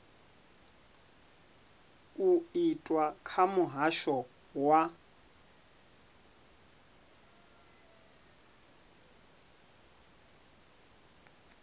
u itwa kha muhasho wa